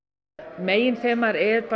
meginþemað er